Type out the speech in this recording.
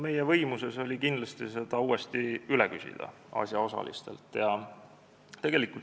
Meie võimuses oli seda uuesti asjaosalistelt üle küsida.